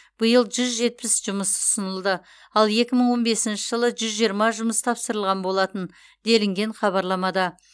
биыл жүз жетпіс жұмыс ұсынылды ал екі мың он бесінші жылы жүз жиырма жұмыс тапсырылған болатын делінген хабарламада